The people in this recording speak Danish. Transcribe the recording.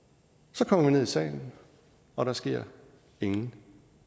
så kommer vi ned i salen og der sker ingenting